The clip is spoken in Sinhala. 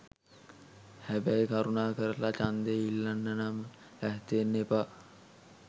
හැබැයි කරුණාකරලා ඡන්දය ඉල්ලන්නම් ලෑස්ති වෙන්න එපා.